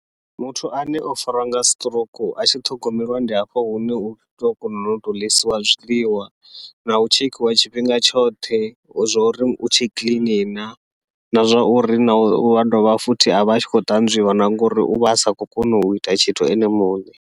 Muthu ane o fariwa nga siṱirouku a tshi ṱhogomelwa ndi hafho hune utou kona u tou ḽisiwa zwiḽiwa nau tshekhiwa tshifhinga tshoṱhe, u zwauri u tshe clean na, na zwa uri na ua dovha futhi avha a tshi khou ṱanzwiwa na ngauri uvha asa khou kona uita tshithu ene muṋe.